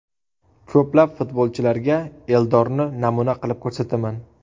Ko‘plab futbolchilarga Eldorni namuna qilib ko‘rsataman.